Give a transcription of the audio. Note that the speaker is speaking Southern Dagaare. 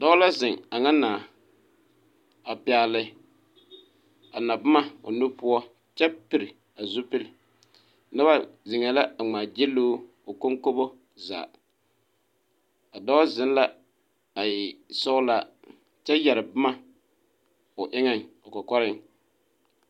Dɔɔ la zeŋ a nyɛ nãã a pɛgle a naboma o nu poɔ kyɛ piri a zupili noba zeŋɛɛ la a ŋmaagyili o o konkobo zaa a dɔɔ zeŋ la a e sɔglaa kyɛ yɛre boma o eŋɛŋ o kɔkɔreŋ.